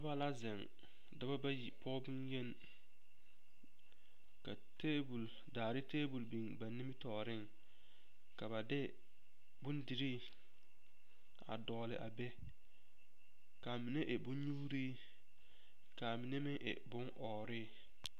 Noba la zeŋ dɔba bayi pɔge bonyeni ka tabol daare tabol biŋ ba nimitɔɔreŋ ka ba de bondirii a dɔgle a be ka a mine e bonnyuuri k,a mine meŋ e bonɔɔre.